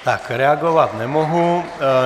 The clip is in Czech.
Tak reagovat nemohu.